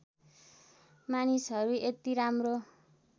मानिसहरू यति राम्रो